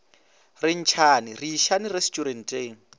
re ntšhane re išane resturenteng